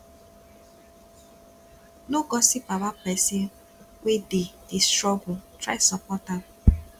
no gossip about pesin wey dey dey struggle try support am